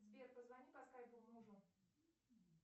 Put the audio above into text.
сбер позвони по скайпу мужу